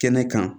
Kɛnɛ kan